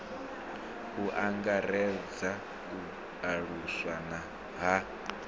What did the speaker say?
u angaredza u aluswa ha